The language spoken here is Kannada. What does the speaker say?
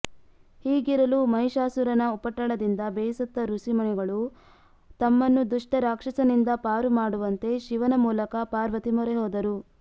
ಹೀಗಿರಲು ಮಹಿಷಾಸುರನ ಉಪಟಳದಿಂದ ಬೇಸತ್ತ ಋಷಿ ಮುನಿಗಳು ತಮ್ಮನ್ನು ದುಷ್ಟ ರಾಕ್ಷಸನಿಂದ ಪಾರು ಮಾಡುವಂತೆ ಶಿವನ ಮೂಲಕ ಪಾರ್ವತಿ ಮೊರೆಹೋದರು